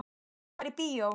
Viltu fara í bíó?